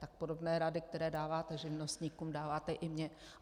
Tak podobné rady, které dáváte živnostníkům, dáváte i mně.